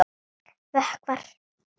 Vökvar í þögn.